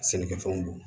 Sɛnɛkɛfɛnw don